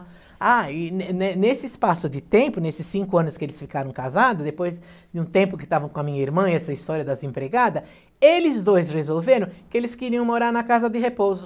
Ah, e ne ne nesse espaço de tempo, nesses cinco anos que eles ficaram casados, depois de um tempo que estavam com a minha irmã e essa história das empregadas, eles dois resolveram que eles queriam morar na casa de repouso.